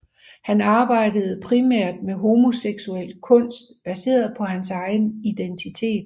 Han arbejder primært med homoseksuel kunst baseret på hans egen identitet